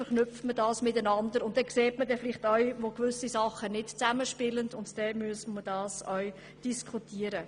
Dann sieht man vielleicht auch, wo Dinge nicht zusammenspielen, und das müssen wir dann diskutieren.